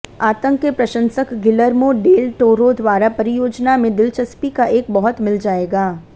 आतंक के प्रशंसक गिलर्मो डेल टोरो द्वारा परियोजना में दिलचस्पी का एक बहुत मिल जाएगा